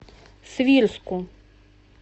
свирску